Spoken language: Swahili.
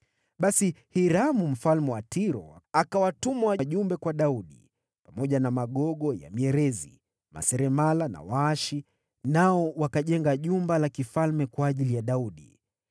Basi Hiramu mfalme wa Tiro akawatuma wajumbe kwa Daudi, wakiwa na magogo ya mierezi, maseremala na waashi, nao wakajenga jumba la kifalme kwa ajili ya Daudi.